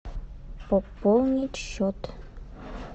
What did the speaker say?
пополнить счет